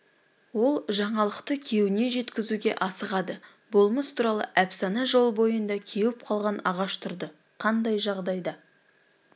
ол жаңалықты күйеуіне жеткізуге асығады болмыс туралы әпсана жол бойында кеуіп қалған ағаш тұрды қандай жағдайда